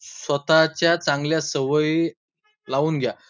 स्वतःच्या चांगल्या सवयी लावून घ्या.